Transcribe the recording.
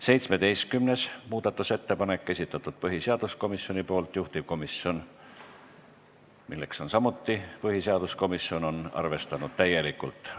17. muudatusettepaneku on esitanud põhiseaduskomisjon ning juhtivkomisjon, milleks on samuti põhiseaduskomisjon, on arvestanud seda täielikult.